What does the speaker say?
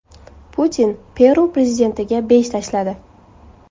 Putin Peru prezidentiga besh tashladi.